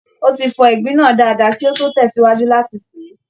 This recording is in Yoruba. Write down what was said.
Ó ti fọ ìgbín náà dáadáa kí ó tó tẹ̀sìwájú láti sè é